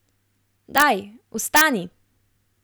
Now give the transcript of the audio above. Daj, vstani!